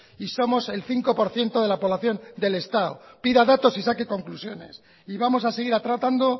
y somos el cinco por ciento de la población del estado pida datos y saque conclusiones y vamos a seguir tratando